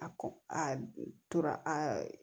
A kɔ a tora a